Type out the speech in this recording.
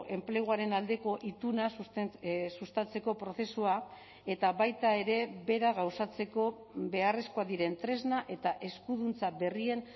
enpleguaren aldeko ituna sustatzeko prozesua eta baita ere bera gauzatzeko beharrezkoak diren tresna eta eskuduntza berrien